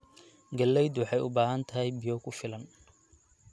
Galleydu waxay u baahan tahay biyo ku filan.